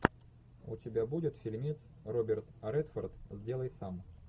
у тебя будет фильмец роберт редфорд сделай сам